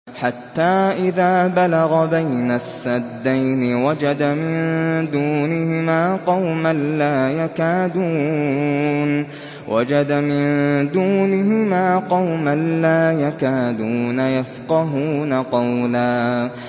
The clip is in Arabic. حَتَّىٰ إِذَا بَلَغَ بَيْنَ السَّدَّيْنِ وَجَدَ مِن دُونِهِمَا قَوْمًا لَّا يَكَادُونَ يَفْقَهُونَ قَوْلًا